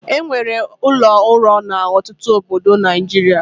E nwere ụlọ ụrọ n'ọtụtụ obodo na Naịjirịa.